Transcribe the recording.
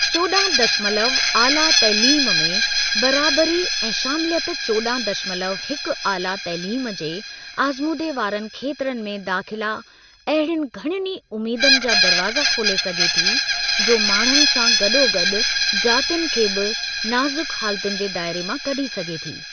चोॾहं दशमलव आला तइलीम में बराबरी ऐं शामिलियत चोॾहं दशमलव हिकु आला तइलीम जे आज़मूदे वारनि खेत्रनि में दाख़िला अहिड़ियुनि घणियुनि उमेदुनि जा दरवाज़ा खोले सघे थी, जो माण्हूनि सां गॾोगॾु जातियुनि खे बि नाज़ुक हालतुनि जे दायरे मां कढी सघे थी।